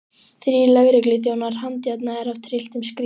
Þrír lögregluþjónar handjárnaðir af trylltum skríl.